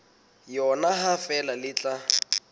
yona ha feela le tla